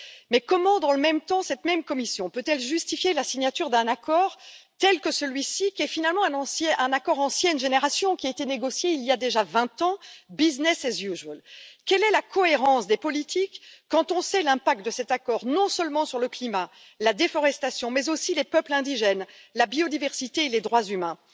Mais comment, dans le même temps, cette même Commission peut elle justifier la signature d'un accord tel que celui ci, qui est finalement un accord d'ancienne génération, qui a été négocié il y a déjà vingt ans, Quelle est la cohérence des politiques quand on sait l'impact de cet accord, non seulement sur le climat et la déforestation, mais aussi les peuples indigènes, la biodiversité et les droits humains?